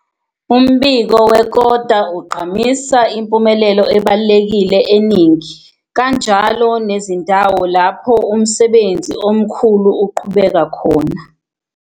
Umbiko wekota ugqamisa impumelelo ebalulekile eningi, kanjalo nezindawo lapho umsebenzi omkhulu uqhubeka khona.